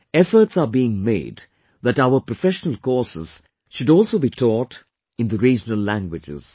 Efforts are being made that our professional courses should also be taught in the regional languages